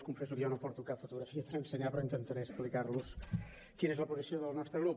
els confesso que jo no porto cap fotografia per ensenyar però intentaré explicar los quina és la posició del nostre grup